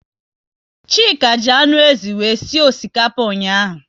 Chika ji anụ ézì wee sie osikapa ụnyaahụ